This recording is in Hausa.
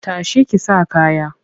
Ta shi ki sa kaya!